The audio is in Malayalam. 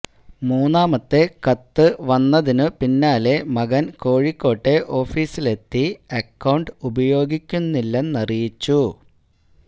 മൂന്നാമത്തെ കത്ത് വന്നതിനു പിന്നാലെ മകൻ കോഴിക്കോട്ടെ ഓഫിസിലെത്തി അക്കൌണ്ട് ഉപയോഗിക്കുന്നില്ലെന്നറിയിച്ചു